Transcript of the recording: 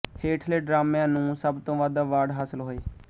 ਹੇਠਲੇ ਡਰਾਮਿਆਂ ਨੂੰ ਸਭ ਤੋਂ ਵੱਧ ਅਵਾਰਡ ਹਾਸਲ ਹੋਏ